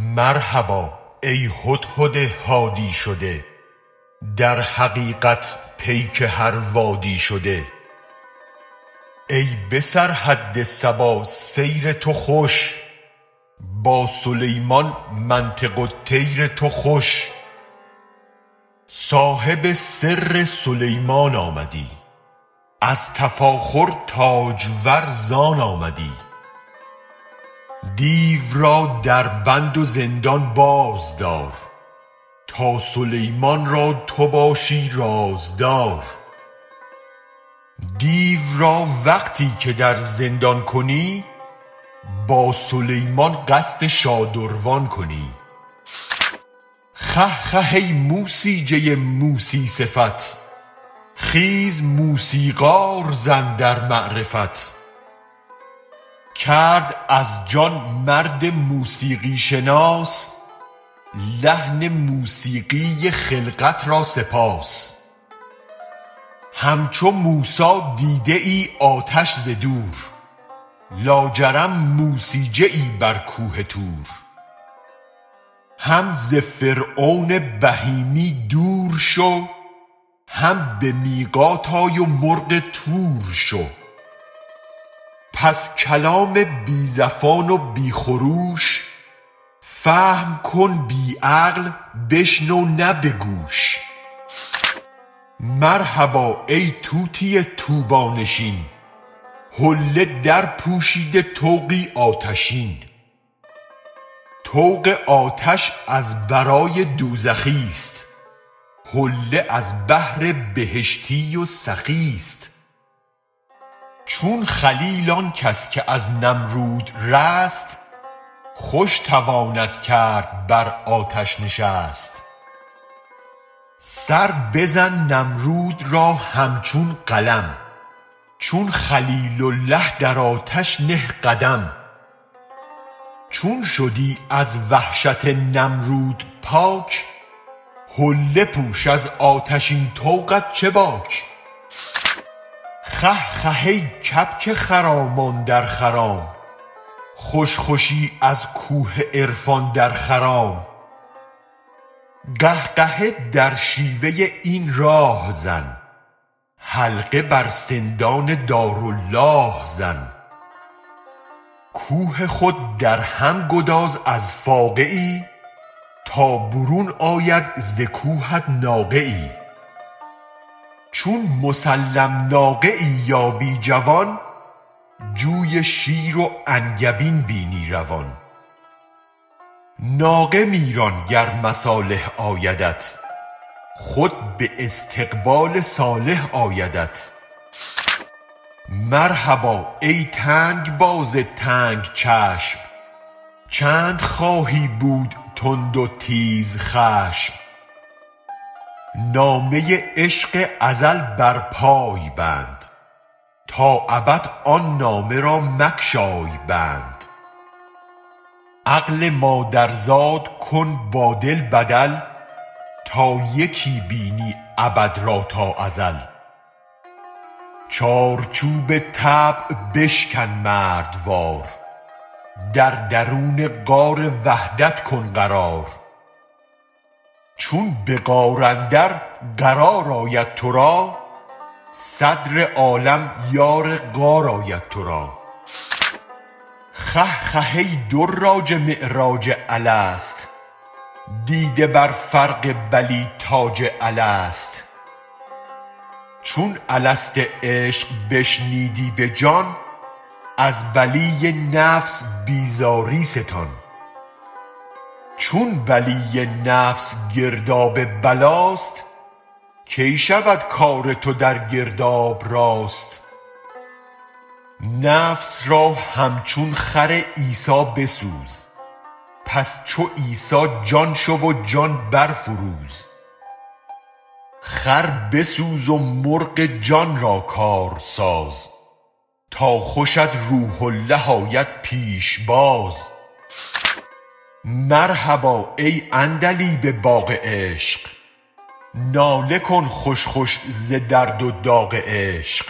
مرحبا ای هدهد هادی شده در حقیقت پیک هر وادی شده ای به سرحد سبا سیر تو خوش با سلیمان منطق الطیر تو خوش صاحب سر سلیمان آمدی از تفاخر تاجور زان آمدی دیو را در بند و زندان باز دار تا سلیمان را تو باشی رازدار دیو را وقتی که در زندان کنی با سلیمان قصد شادروان کنی خه خه ای موسیجه موسی صفت خیز موسیقار زن در معرفت کرد از جان مرد موسیقی شناس لحن موسیقی خلقت را سپاس همچو موسی دیده ای آتش ز دور لاجرم موسیجه ای بر کوه طور هم ز فرعون بهیمی دور شو هم به میقات آی و مرغ طور شو پس کلام بی زفان و بی خروش فهم کن بی عقل و بشنو نه به گوش مرحبا ای طوطی طوبی نشین حله درپوشیده طوقی آتشین طوق آتش از برای دوزخی ست حله از بهر بهشتی و سخی ست چون خلیل آن کس که از نمرود رست خوش تواند کرد بر آتش نشست سر بزن نمرود را همچون قلم چون خلیل اله در آتش نه قدم چون شدی از وحشت نمرود پاک حله پوش از آتشین طوقت چه باک خه خه ای کبک خرامان در خرام خوش خوشی از کوه عرفان در خرام قهقهه در شیوه این راه زن حلقه بر سندان دارالله زن کوه خود در هم گداز از فاقه ای تا برون آید ز کوهت ناقه ای چون مسلم ناقه ای یابی جوان جوی شیر و انگبین بینی روان ناقه می ران گر مصالح آیدت خود به استقبال صالح آیدت مرحبا ای تنگ باز تنگ چشم چند خواهی بود تند و تیزخشم نامه عشق ازل بر پای بند تا ابد آن نامه را مگشای بند عقل مادرزاد کن با دل بدل تا یکی بینی ابد را با ازل چارچوب طبع بشکن مردوار در درون غار وحدت کن قرار چون به غار اندر قرار آید تو را صدر عالم یار غار آید تو را خه خه ای دراج معراج الست دیده بر فرق بلیٰ تاج الست چون الست عشق بشنیدی به جان از بلی نفس بیزاری ستان چون بلی نفس گرداب بلاست کی شود کار تو در گرداب راست نفس را همچون خر عیسی بسوز پس چو عیسی جان شو و جان برفروز خر بسوز و مرغ جان را کار ساز تا خوشت روح اله آید پیش باز مرحبا ای عندلیب باغ عشق ناله کن خوش خوش ز درد و داغ عشق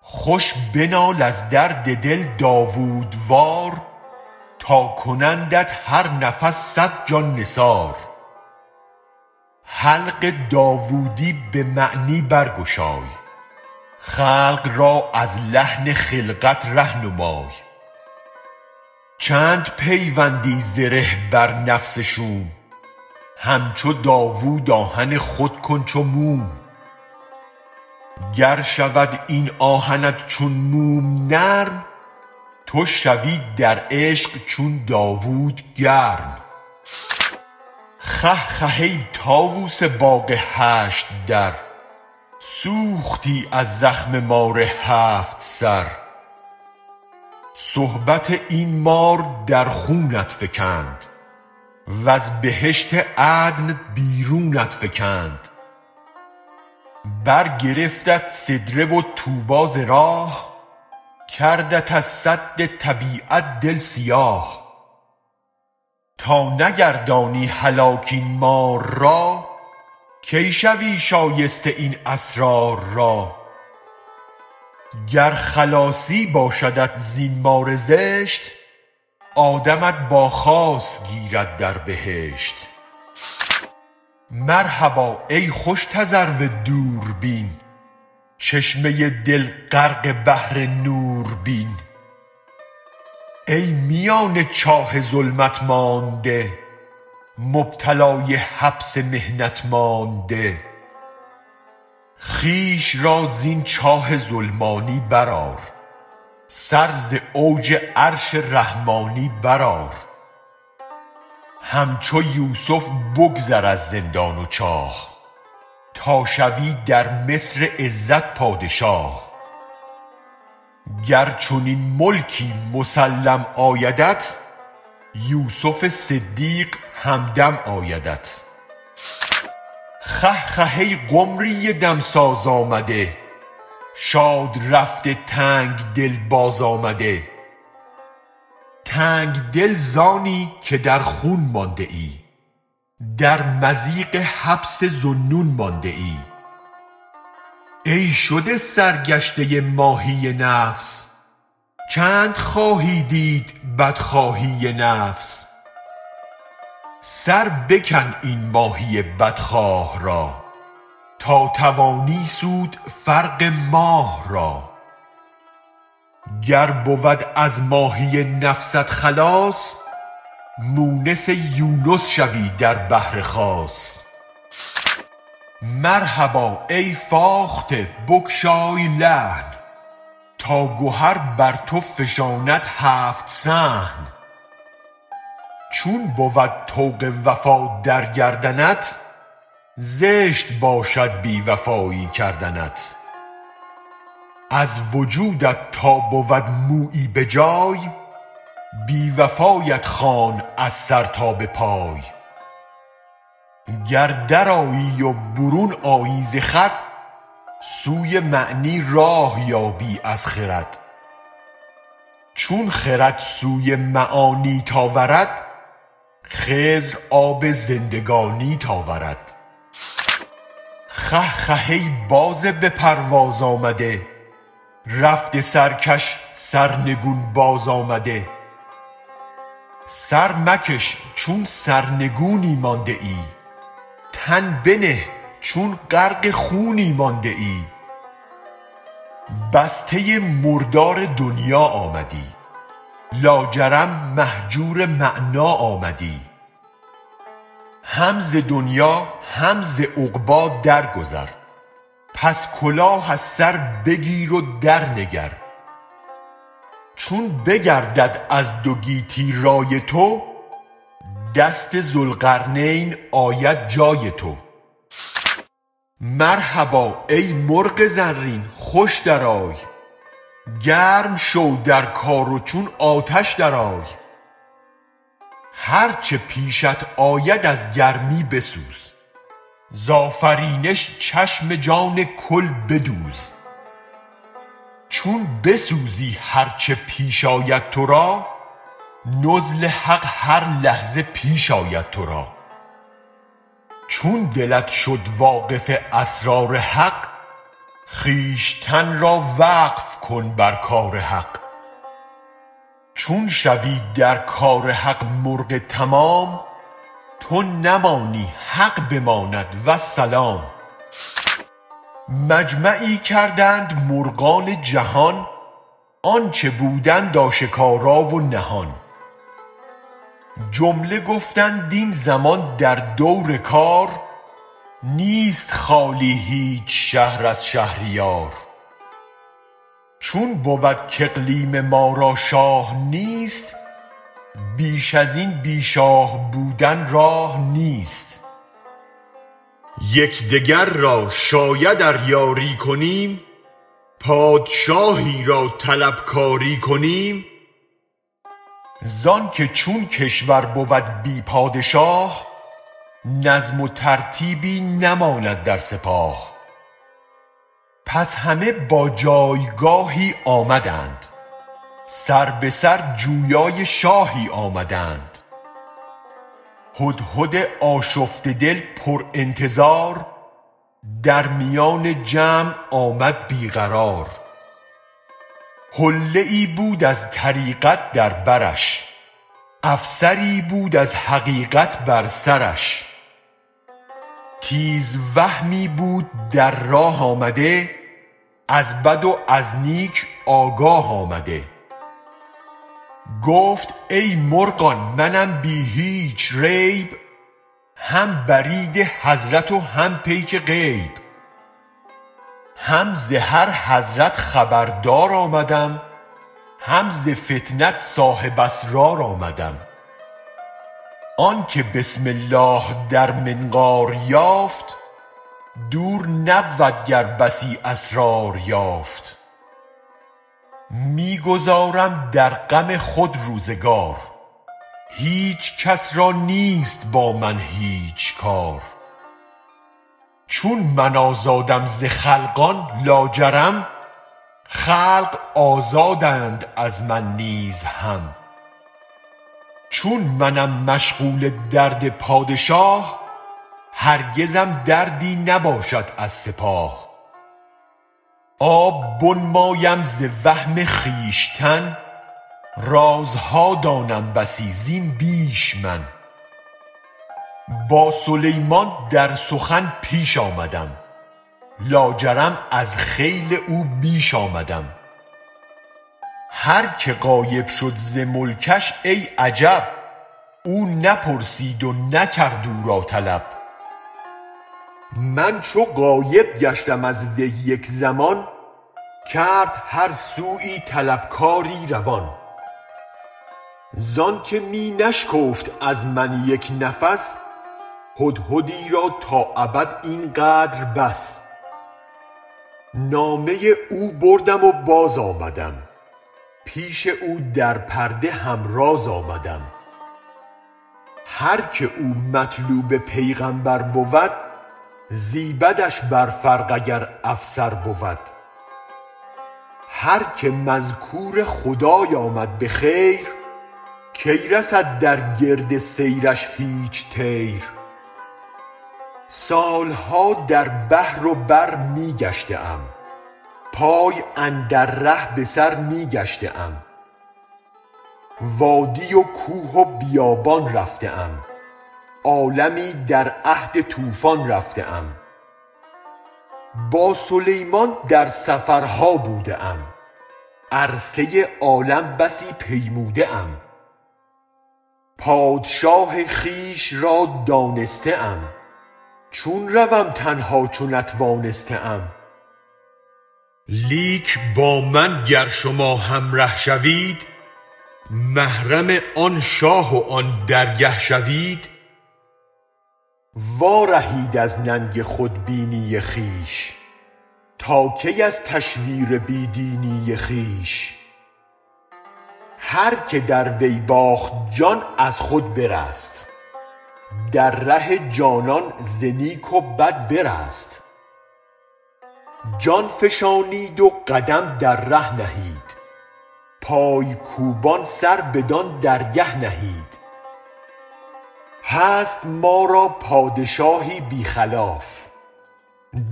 خوش بنال از درد دل داوودوار تا کنندت هر نفس صد جان نثار حلق داوودی به معنی برگشای خلق را از لحن خلقت ره نمای چند پیوندی زره بر نفس شوم همچو داوود آهن خود کن چو موم گر شود این آهنت چون موم نرم تو شوی در عشق چون داوود گرم خه خه ای طاووس باغ هشت در سوختی از زخم مار هفت سر صحبت این مار در خونت فکند وز بهشت عدن بیرونت فکند برگرفتت سدره و طوبی ز راه کردت از سد طبیعت دل سیاه تا نگردانی هلاک این مار را کی شوی شایسته این اسرار را گر خلاصی باشدت زین مار زشت آدمت با خاص گیرد در بهشت مرحبا ای خوش تذرو دوربین چشمه دل غرق بحر نور بین ای میان چاه ظلمت مانده مبتلای حبس تهمت مانده خویش را زین چاه ظلمانی برآر سر ز اوج عرش رحمانی برآر همچو یوسف بگذر از زندان و چاه تا شوی در مصر عزت پادشاه گر چنین ملکی مسلم آیدت یوسف صدیق همدم آیدت خه خه ای قمری دمساز آمده شاد رفته تنگ دل باز آمده تنگ دل زانی که در خون مانده ای در مضیق حبس ذوالنون مانده ای ای شده سرگشته ماهی نفس چند خواهی دید بدخواهی نفس سر بکن این ماهی بدخواه را تا توانی سود فرق ماه را گر بود از ماهی نفست خلاص مونس یونس شوی در صدر خاص مرحبا ای فاخته بگشای لحن تا گهر بر تو فشاند هفت صحن چون بود طوق وفا در گردنت زشت باشد بی وفایی کردنت از وجودت تا بود مویی به جای بی وفایت خوانم از سر تا به پای گر در آیی و برون آیی ز خود سوی معنی راه یابی از خرد چون خرد سوی معانیت آورد خضر آب زندگانیت آورد خه خه ای باز به پرواز آمده رفته سرکش سرنگون باز آمده سر مکش چون سرنگونی مانده ای تن بنه چون غرق خونی مانده ای بسته مردار دنیا آمدی لاجرم مهجور معنیٰ آمدی هم ز دنیا هم ز عقبی درگذر پس کلاه از سر بگیر و درنگر چون بگردد از دو گیتی رای تو دست ذوالقرنین آید جای تو مرحبا ای مرغ زرین خوش درآی گرم شو در کار و چون آتش درآی هر چه پیشت آید از گرمی بسوز زآفرینش چشم جان کل بدوز چون بسوزی هر چه پیش آید تو را نزل حق هر لحظه بیش آید تو را چون دلت شد واقف اسرار حق خویشتن را وقف کن بر کار حق چون شوی در کار حق مرغ تمام تو نمانی حق بماند و السلام مجمعی کردند مرغان جهان آنچ بودند آشکارا و نهان جمله گفتند این زمان در دور کار نیست خالی هیچ شهر از شهریار چون بود کاقلیم ما را شاه نیست بیش از این بی شاه بودن راه نیست یک دگر را شاید ار یاری کنیم پادشاهی را طلب کاری کنیم زآنک چون کشور بود بی پادشاه نظم و ترتیبی نماند در سپاه پس همه با جایگاهی آمدند سر به سر جویای شاهی آمدند هدهد آشفته دل پرانتظار در میان جمع آمد بی قرار حله ای بود از طریقت در برش افسری بود از حقیقت بر سرش تیزوهمی بود در راه آمده از بد و از نیک آگاه آمده گفت ای مرغان منم بی هیچ ریب هم برید حضرت و هم پیک غیب هم ز هر حضرت خبردار آمدم هم ز فطنت صاحب اسرار آمدم آنک بسم الله در منقار یافت دور نبود گر بسی اسرار یافت می گذارم در غم خود روزگار هیچ کس را نیست با من هیچ کار چون من آزادم ز خلقان لاجرم خلق آزادند از من نیز هم چون منم مشغول درد پادشاه هرگزم دردی نباشد از سپاه آب بنمایم ز وهم خویشتن رازها دانم بسی زین بیش من با سلیمان در سخن پیش آمدم لاجرم از خیل او بیش آمدم هرک غایب شد ز ملکش ای عجب او نپرسید و نکرد او را طلب من چو غایب گشتم از وی یک زمان کرد هر سویی طلب کاری روان زآنک می نشکفت از من یک نفس هدهدی را تا ابد این قدر بس نامه او بردم و باز آمدم پیش او در پرده هم راز آمدم هرک او مطلوب پیغمبر بود زیبدش بر فرق اگر افسر بود هرک مذکور خدای آمد به خیر کی رسد در گرد سیرش هیچ طیر سال ها در بحر و بر می گشته ام پای اندر ره به سر می گشته ام وادی و کوه و بیابان رفته ام عالمی در عهد طوفان رفته ام با سلیمان در سفرها بوده ام عرصه عالم بسی پیموده ام پادشاه خویش را دانسته ام چون روم تنها چو نتوانسته ام لیک با من گر شما همره شوید محرم آن شاه و آن درگه شوید وارهید از ننگ خودبینی خویش تا کی از تشویر بی دینی خویش هرک در وی باخت جان از خود برست در ره جانان ز نیک و بد برست جان فشانید و قدم در ره نهید پای کوبان سر بدان درگه نهید هست ما را پادشاهی بی خلاف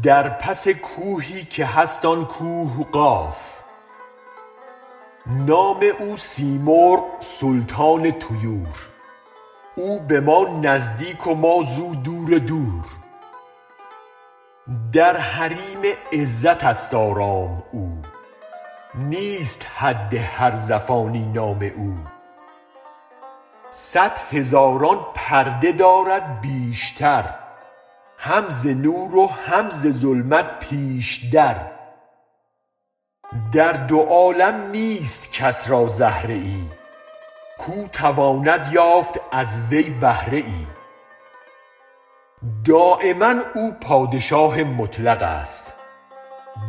در پس کوهی که هست آن کوه قاف نام او سیمرغ سلطان طیور او به ما نزدیک و ما زو دور دور در حریم عزت است آرام او نیست حد هر زفانی نام او صد هزاران پرده دارد بیشتر هم ز نور و هم ز ظلمت پیش در در دو عالم نیست کس را زهره ای کاو تواند یافت از وی بهره ای دایما او پادشاه مطلق است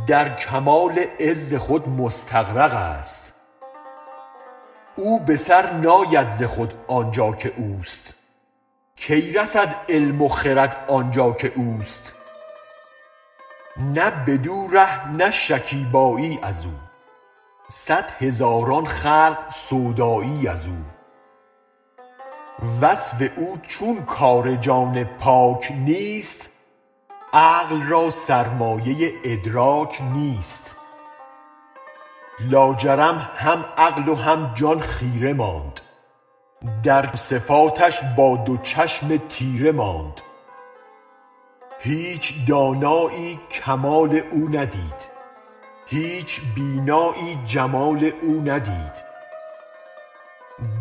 در کمال عز خود مستغرق است او به سر ناید ز خود آن جا که اوست کی رسد علم و خرد آن جا که اوست نه بدو ره نه شکیبایی از او صد هزاران خلق سودایی از او وصف او چون کار جان پاک نیست عقل را سرمایه ادراک نیست لاجرم هم عقل و هم جان خیره ماند در صفاتش با دو چشم تیره ماند هیچ دانایی کمال او ندید هیچ بینایی جمال او ندید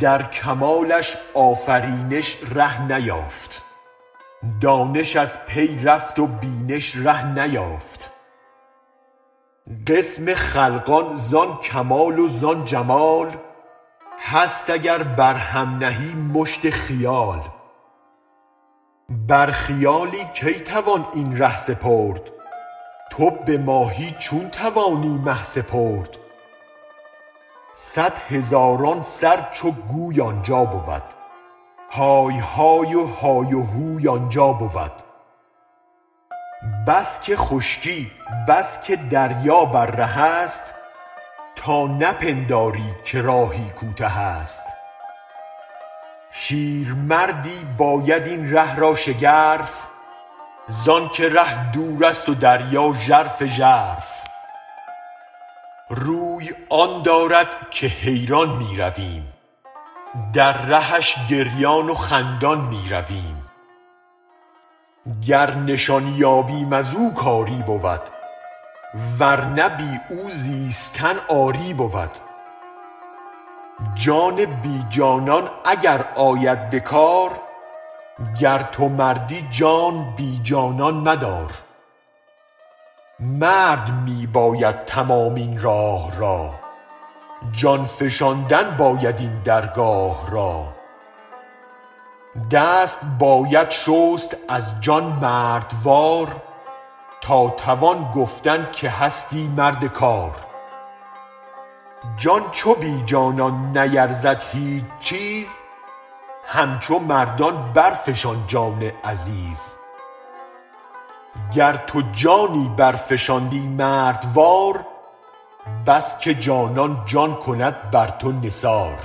در کمالش آفرینش ره نیافت دانش از پی رفت و بینش ره نیافت قسم خلقان زان کمال و زان جمال هست اگر بر هم نهی مشت خیال بر خیالی کی توان این ره سپرد تو به ماهی چون توانی مه سپرد صد هزاران سر چو گوی آن جا بود های های و های و هوی آن جا بود بس که خشکی بس که دریا بر ره است تا نپنداری که راهی کوته است شیرمردی باید این ره را شگرف زآنک ره دور است و دریا ژرف ژرف روی آن دارد که حیران می رویم در رهش گریان و خندان می رویم گر نشان یابیم از او کاری بود ور نه بی او زیستن عاری بود جان بی جانان اگر آید به کار گر تو مردی جان بی جانان مدار مرد می باید تمام این راه را جان فشاندن باید این درگاه را دست باید شست از جان مردوار تا توان گفتن که هستی مرد کار جان چو بی جانان نیرزد هیچ چیز همچو مردان برفشان جان عزیز گر تو جانی برفشانی مردوار بس که جانان جان کند بر تو نثار